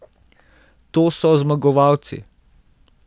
To so zmagovalci.